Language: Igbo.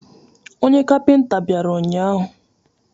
Onye kapịnta bịara ụnyahụ.